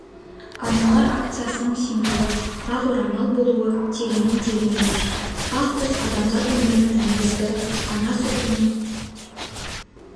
аналар акциясының символы ақ орамал болуы тегіннен тегін емес ақ түс адамзат өмірінің негізі ана сүтінің